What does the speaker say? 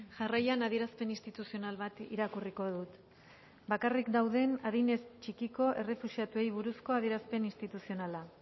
jarraian adierazpen instituzional bat irakurriko dut bakarrik dauden adinez txikiko errefuxiatuei buruzko adierazpen instituzionala